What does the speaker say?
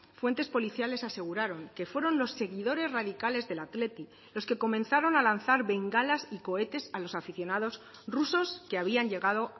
fuentes policiales aseguraron que fueron los seguidores radicales del athletic los que comenzaron a lanzar bengalas y cohetes a los aficionados rusos que habían llegado